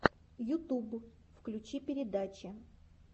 ютуб включи передачи